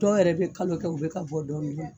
Dɔw yɛrɛ bɛ kalo kɛ, u bɛ ka bɔ dɔɔnin dɔɔnin